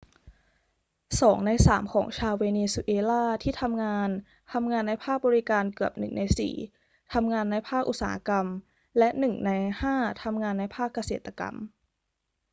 2 ใน 3 ของชาวเวเนซุเอลาที่ทำงานทำงานในภาคบริการ เกือบ 1 ใน 4 ทำงานในภาคอุตสาหกรรม และ 1 ใน 5 ทำงานในภาคเกษตรกรรม